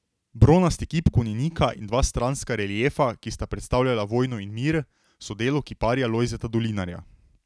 Bronasti kip konjenika in dva stranska reliefa, ki sta predstavljala vojno in mir, so delo kiparja Lojzeta Dolinarja.